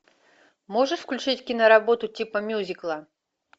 можешь включить киноработу типа мюзикла